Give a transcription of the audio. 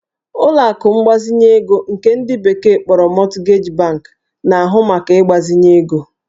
Ụlọ akụ mgbazinye ego nke ndị bekee kpọrọ Mortgage bank na-ahụ maka ịgbazinye ego